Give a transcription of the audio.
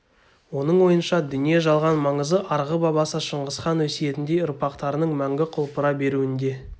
оның ойынша дүние-жалған маңызы арғы бабасы шыңғысхан өсиетіндей ұрпақтарының мәңгі құлпыра беруінде